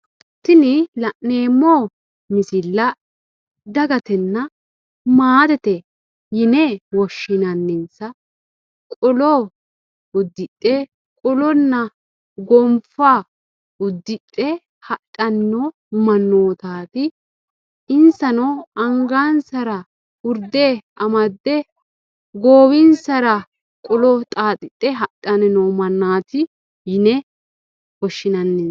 Tini la'neemo misilla dagatenna maatete yine woshinnanninsa qolo udidhe qolonna gonfa udidhe hadhano manoottaati insano angansara urde amadde goowinsara qolo xaaxidhe hadhanni noo mannaati yine woshinnannisa.